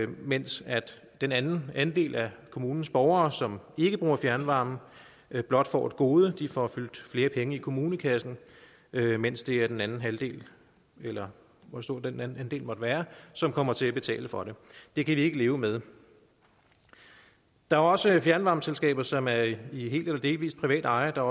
mens den anden andel af kommunens borgere som ikke bruger fjernvarme blot får et gode de får fyldt flere penge i kommunekassen mens det er den anden halvdel eller hvor stor en andel det måtte være som kommer til at betale for det det kan vi ikke leve med der er også fjernvarmeselskaber som er i i helt eller delvis privat eje og der